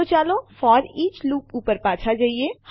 તો ચાલો foreach loop ઉપર પાછા જઈએ